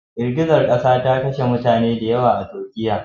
Girgizar kasa ta kashe mutane da yawa a Turkiya.